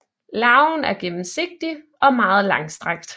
Larven er gennemsigtig og meget langstrakt